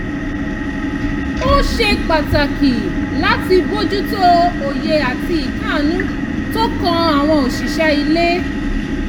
ó ṣe pàtàkì láti bójútó òye àti ìkáàánú tó kan àwọn òṣìṣẹ́ ilé